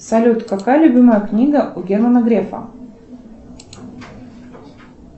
салют какая любимая книга у германа грефа